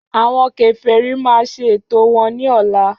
Àwọn Kèfèrí máa ṣe ètò wọn ní ọ̀la